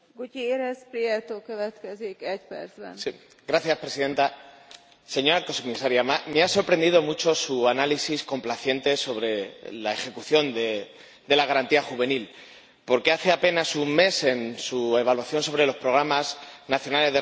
Señora Presidenta, señor Comisaria, me ha sorprendido mucho su análisis complaciente sobre la ejecución de la Garantía Juvenil, porque hace apenas un mes en su evaluación sobre los programas nacionales de reforma de los países decía exactamente lo contrario.